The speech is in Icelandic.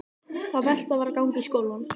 Það versta var að ganga í skólann.